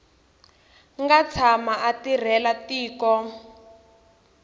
nga tshama a tirhela tiko